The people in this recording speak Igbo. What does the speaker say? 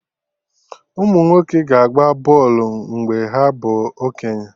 Umunwoke ga-agba bọlụ mgbe ha bụ okenye